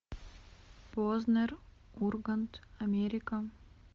познер ургант америка